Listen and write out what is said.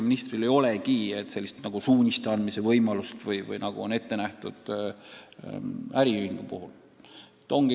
Mul ei ole sellist suuniste andmise võimalust, nagu äriühingu puhul ette nähtud on.